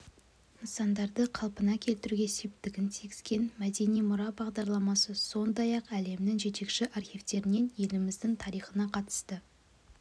нысандарды қалпына келтіруге септігін тигізген мәдени мұра бағдарламасы сондай-ақ әлемнің жетекші архивтерінен еліміздің тарихына қатысты